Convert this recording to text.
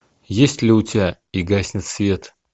есть ли у тебя и гаснет свет